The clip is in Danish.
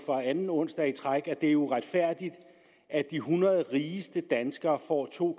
for anden onsdag i træk at det er uretfærdigt at de hundrede rigeste danskere får to